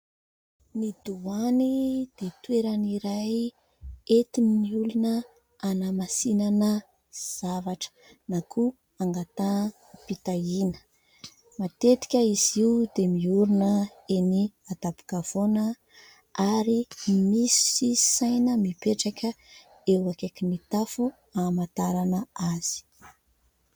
Ny Doany dia toerana iray entin'ny olona hanamasinana zavatra na koa angataham-pitahiana. Matetika izy io dia miorina eny an-tampon-kavoana ary misy saina mipetraka eo akaikin'ny tafo amantarana azy.